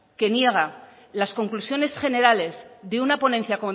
que niega las conclusiones generales de una ponencia